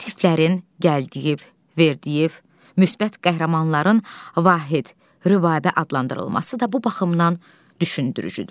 Mənfi tiplərin Gəldiyev, Verdiyev, müsbət qəhrəmanların Vahid, Rübabə adlandırılması da bu baxımdan düşündürücüdür.